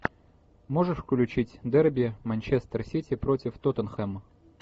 можешь включить дерби манчестер сити против тоттенхэма